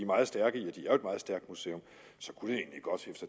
meget stærkt museum så kunne